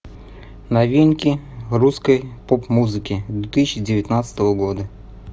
новинки русской поп музыки две тысячи девятнадцатого года